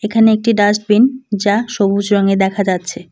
এখানে একটি ডাস্টবিন যা সবুজ রঙের দেখা যাচ্ছে।